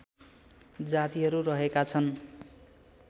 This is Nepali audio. जातिहरू रहेका छन्